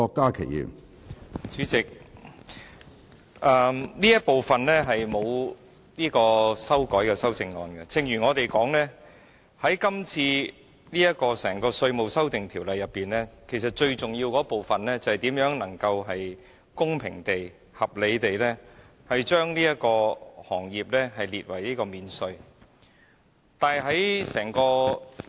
主席，這部分是無經修改的修正案，正如我們所言，《2017年稅務條例草案》最重要的部分，便是如何能夠公平和合理地把這個行業納入免稅之列。